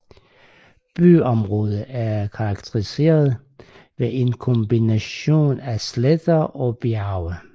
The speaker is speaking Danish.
Byområdet er karakteriseret ved en kombination af sletter og bjerge